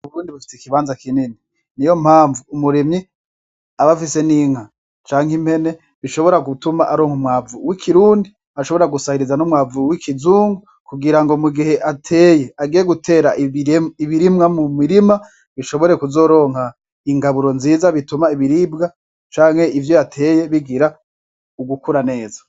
Ubundi bufite ikibanza kinini ni yo mpamvu umuremyi abafise n'inka canke impene bishobora gutuma aronka umwavu w'ikirundi ashobora gusahiriza n'umwavue w'ikizungu kugira ngo mu gihe ateye agiye gutera ibirimwa mu mirima bishobore kuzoronka ingaburo nziza bituma ibiribwa canke ivyo bateye bigira ugukura neza.